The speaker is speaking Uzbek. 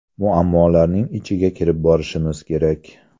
Muammolarning ichiga kirib borishimiz kerak.